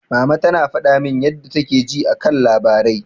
Mama ta faɗa min yadda take ji a kan labarai.